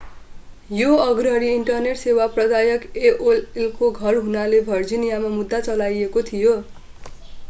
यो अग्रणी इन्टरनेट सेवा प्रदायक एओएलको घर हुनाले भर्जिनियामा मुद्दा चलाइएको थियो